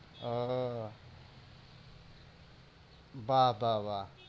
আহ বাহ্ বা বা